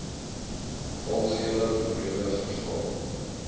algehele morele verval